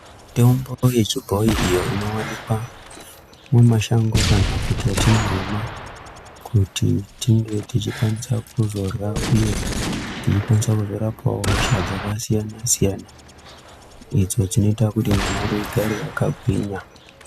Mitombo yechibhoyi iyo inowanikwa mumashango kana kuti yatinorima kuti tinge techikwanise kuzorya uye techikwanise kuzorapwawo hosha dzakasiyanasiyana idzo dzinoita kuti nyama yedu igare yakagwinya.